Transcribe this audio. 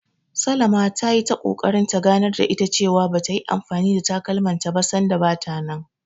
Salama ta yi ta ƙoƙarin ta ganar da ita cewa, ba ta yi anfani da takalmanta ba sanda bata nan.